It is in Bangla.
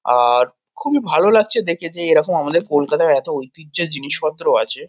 আ-র খুবই ভালো লাগছে দেখে যে এরকম আমাদের কলকাতায় এতো ঐতিহ্য জিনিসপত্র আছে।